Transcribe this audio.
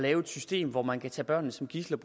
et system hvor man kan tage børnene som gidsler